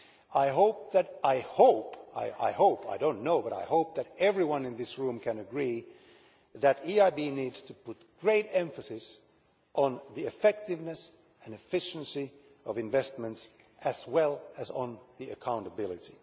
I hope I do not know but I hope that everyone in this room can agree that the EIB needs to put great emphasis on the effectiveness and efficiency of investments, as well as on accountability.